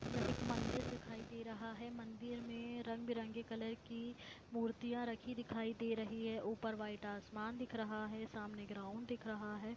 एक मंदिर दिखाई दे रहा है मंदिर में रंग बिरंगी कलर की मूर्तिया रखी दिखाई दे रही है ऊपर वाइट आसमान दिख रहा है सामने एक ग्राउंड दिख रहा है।